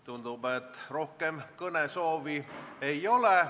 Tundub, et rohkem kõnesoove ei ole.